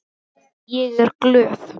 Ég er glöð.